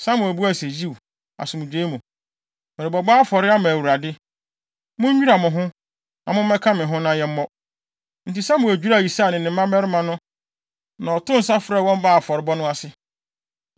Samuel buae se, “Yiw, asomdwoe mu. Merebɛbɔ afɔre ama Awurade. Munnwira mo ho, na mommɛka me ho na yɛmmɔ.” Enti Samuel dwiraa Yisai ne ne mmabarima no na ɔtoo nsa frɛɛ wɔn baa afɔrebɔ no ase.